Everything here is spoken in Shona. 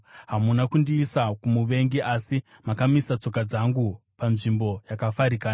Hamuna kundiisa kumuvengi, asi makamisa tsoka dzangu panzvimbo yakafarikana.